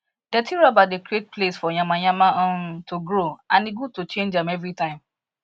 dirty rubber they create place for yamayama um to grow and e good to change am every time